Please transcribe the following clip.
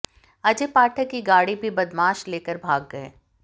अजय पाठक की गाड़ी भी बदमाश लेकर भाग गए